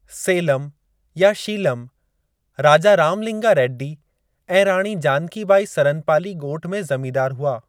सेलम या शीलम राजा रामलिंगा रेड्डी ऐं राणी जानकी बाई सरनपाली ॻोठ में ज़मींदारु हुआ।